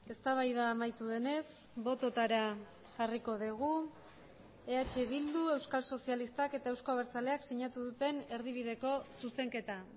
eztabaida amaitu denez bototara jarriko dugu eh bildu euskal sozialistak eta euzko abertzaleak sinatu duten erdibideko zuzenketa